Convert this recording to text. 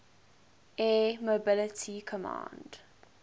air mobility command